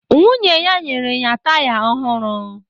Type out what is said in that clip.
Nwunye ya nyere ya taya ọhụrụ